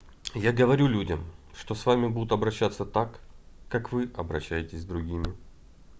я говорю людям что с вами будут обращаться так как вы обращаетесь с другими